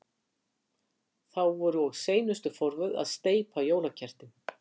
Þá voru og seinustu forvöð að steypa jólakertin.